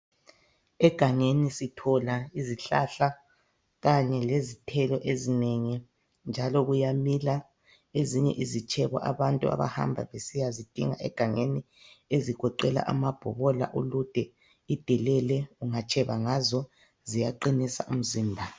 Egangeni sithola izihlahla kanye lezithelo ezinengi njalo kuyamila ezinye izitshebo abantu abahamba besiyazidinga egangeni ezigoqela amabhobola ulude idelele ungatsheba ngazo ziyaqinisa imizimba